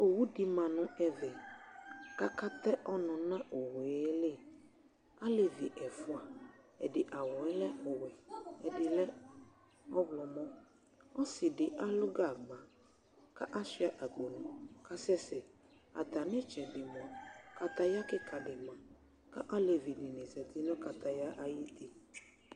OWU di ma nu ɛvɛ ka katɛ ɔnu nu owuéli alévi ɛfoa ɛdi awuɛ lɛ ɔwɛ ɛdilɛ ɔwlɔ mɔ osidi alu gagba kasua akpo kasɛsɛ atamitsɛdi moa kataya kika dini 1 ni zɛti nu kakaya ay